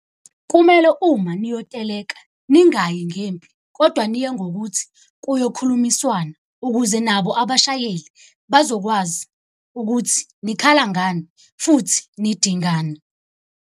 Kumele uma niyoteleka ningayi ngempi, kodwa niye ngokuthi kuyokhulumiswana. Ukuze nabo abashayeli bazokwazi ukuthi nikhala ngani, futhi nidingani.